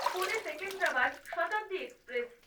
Pune Secunderabad Shatabdi express